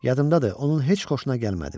Yadımdadır, onun heç xoşuna gəlmədim.